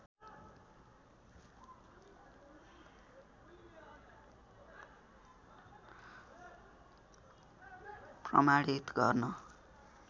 प्रमाणित गर्न